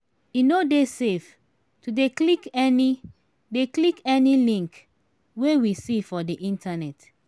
e no dey safe to dey click any dey click any link wey we see for di internet